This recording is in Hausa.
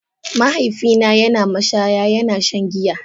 Mahaifina yana mashaya yana shan giya.